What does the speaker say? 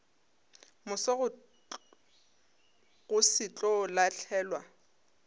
moso go se tlo lahlelwa